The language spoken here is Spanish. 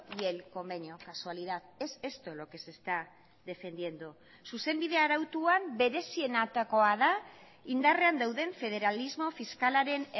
y el convenio casualidad es esto lo que se está defendiendo zuzenbide arautuan berezienetakoa da indarrean dauden federalismo fiskalaren